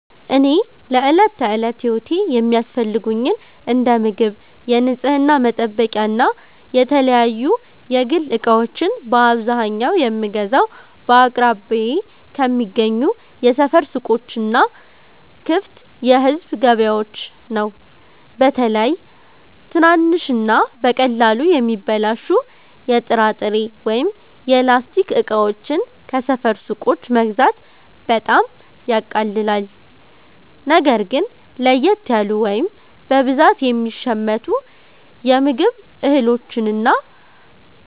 እኔ ለዕለት ተዕለት ሕይወቴ የሚያስፈልጉኝን እንደ ምግብ፣ የንጽሕና መጠበቂያና የተለያዩ የግል ዕቃዎችን በአብዛኛው የምገዛው በአቅራቢያዬ ከሚገኙ የሰፈር ሱቆችና ክፍት የሕዝብ ገበያዎች ነው። በተለይ ትናንሽና በቀላሉ የሚበላሹ የጥራጥሬ ወይም የላስቲክ ዕቃዎችን ከሰፈር ሱቆች መግዛት በጣም ያቃልላል። ነገር ግን ለየት ያሉ ወይም በብዛት የሚሸመቱ የምግብ እህሎችንና